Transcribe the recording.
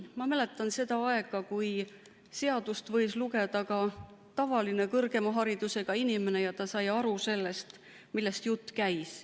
Ma mäletan seda aega, kui seadust võis lugeda ka tavaline kõrgharidusega inimene ja ta sai aru sellest, millest jutt käis.